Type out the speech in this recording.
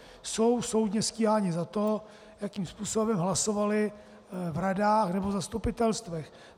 Jsou soudně stíháni za to, jakým způsobem hlasovali v radách nebo v zastupitelstvech.